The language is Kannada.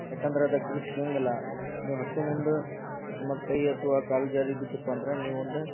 ಯಾಕಂದ್ರ ಅದು ಗ್ರಿಪ್ ಸಿಗಂಗಿಲ್ಲ ನೀವ್ ಹತ್ತೋ ಮುಂದ ಕೈ ಅಥವಾ ಕಾಲ್ ಜಾರಿ ಬಿದ್ದತ್ಪಂದ್ರ ನೀ ಒಂದ --